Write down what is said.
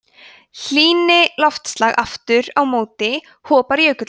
hlýni loftslag aftur á móti hopar jökullinn